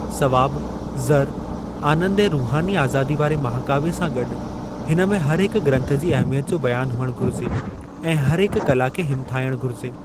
सवाबु, ज़र, आनंदु ऐं रुहानी आज़ादी वारे महाकाव्य सां गॾु हिन में हर हिक ग्रंथ जी अहमियत जो बयानु हुअणु घुरिजे ऐं हर हिकु कला खे हिमथायणु घुरिजे।